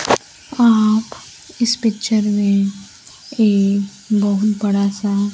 आप इस पिक्चर में एक बहुत बड़ा सा--